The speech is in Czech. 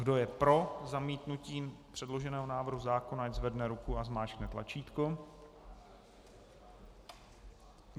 Kdo je pro zamítnutí předloženého návrhu zákona, ať zvedne ruku a zmáčkne tlačítko.